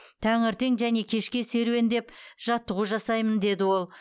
таңертең және кешке серуендеп жаттығу жасаймын деді ол